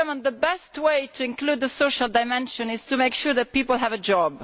The best way to include the social dimension is to make sure that people have a job.